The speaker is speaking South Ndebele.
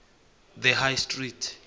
the high street